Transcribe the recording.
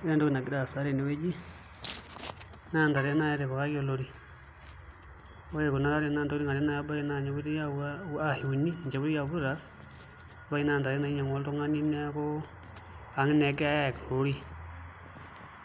Ore entoki nagira aasa tenewueji naa ntare naai etipikaki olori ore nai nebaiki naa ntokitin are ashu uni ninche epoitoi apuo aitaas, ebaiki naa naa ntare naing'uaa oltung'ani neeku ang' naa egirai aayaki tolori